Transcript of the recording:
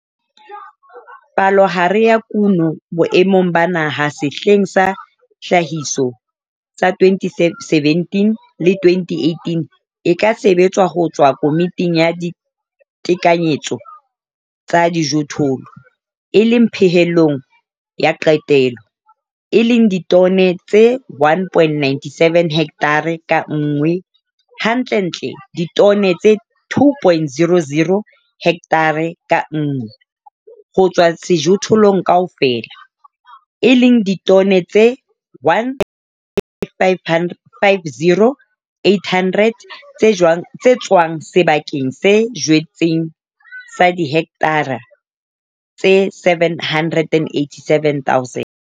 Palohare ya kuno boemong ba Naha sehleng sa tlhahiso sa 2017-2018 e ka sebetswa ho tswa Komiting ya Ditekanyetso tsa Dijothollo, e leng pehelong ya qetelo, e leng ditone tse 1, 97 hekthara ka nngwe, hantlentle ditone tse 2, 00 hekthara ka nngwe, ho tswa sejothollong kaofela, e leng ditone tse 1 550 800 tse tswang sebakeng se jetsweng sa dihekthara tse 787 000.